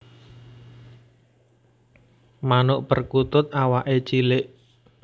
Manuk perkutut awaké cilik